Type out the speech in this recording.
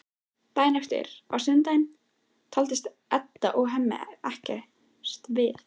Daginn eftir, á sunnudegi, talast Edda og Hemmi ekkert við.